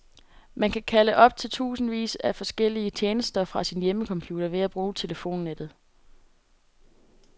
Man kan kalde op til tusindvis af forskellige tjenester fra sin hjemmecomputer ved at bruge telefonnettet.